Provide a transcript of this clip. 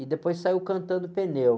E depois saiu cantando pneu.